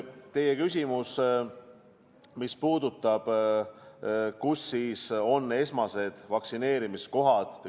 Te küsisite, kus toimub vaktsineerimine.